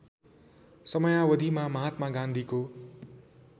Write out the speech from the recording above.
समयावधिमा महात्मा गान्धीको